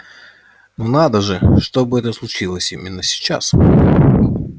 но надо же чтобы это случилось именно сейчас